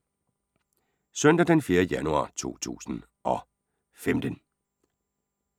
Søndag d. 4. januar 2015